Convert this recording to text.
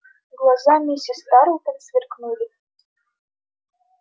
глаза миссис тарлтон сверкнули